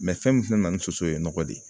fɛn min fɛnɛ nana ni soso ye nɔgɔ de ye